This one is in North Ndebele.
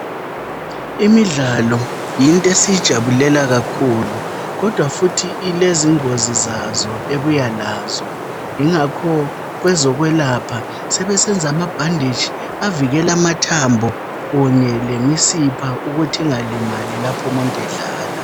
Imidlalo yinto esiyijabulela kakhulu kodwa futhi ilezingozi zazo ebuya lazo. Ingakho kwezokwelapha sebesenza amabhanditshi avikela amathambo kunye lemisipha ukuthi ingalimali laphumuntu edlala.